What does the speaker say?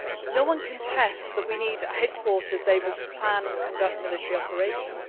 debate. No one contests that we need a headquarters able to plan and conduct military operations.